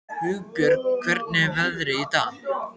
Hugbjörg, hvernig er veðrið í dag?